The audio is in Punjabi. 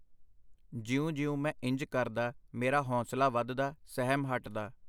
ਜਿਉਂ ਜਿਉਂ ਮੈਂ ਇੰਜ ਕਰਦਾ, ਮੇਰਾ ਹੌਂਸਲਾ ਵਧਦਾ, ਸਹਿਮ ਹਟਦਾ.